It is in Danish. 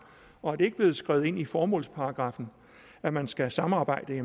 og er det ikke blevet skrevet ind i formålsparagraffen at man skal samarbejde